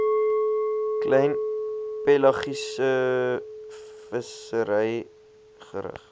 klein pelagiesevissery gerig